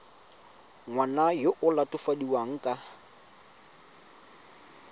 ngwana yo o latofadiwang ka